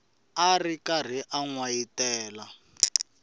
ri karhi a n wayitela